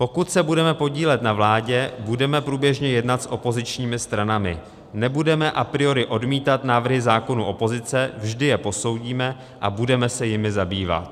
"Pokud se budeme podílet na vládě, budeme průběžně jednat s opozičními stranami, nebudeme a priori odmítat návrhy zákonů opozice, vždy je posoudíme a budeme se jimi zabývat."